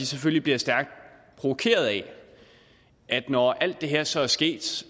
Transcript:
selvfølgelig stærkt provokeret af at det når alt det her så er sket